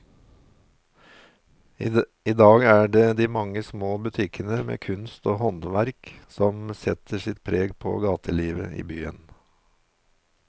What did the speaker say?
I dag er det de mange små butikkene med kunst og håndverk som setter sitt preg på gatelivet i byen.